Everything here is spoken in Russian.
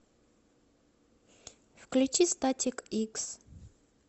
включи статик икс